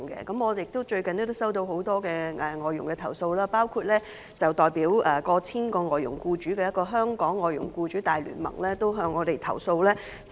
我最近收到很多有關外傭的投訴，包括來自一個代表逾千名外傭僱主的香港外傭僱主大聯盟的投訴。